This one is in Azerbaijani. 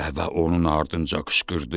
Dəvə onun ardınca qışqırdı.